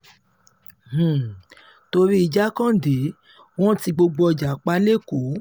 um torí jákàndé wọn ti gbogbo ọjà pa lẹ́kọ̀ọ́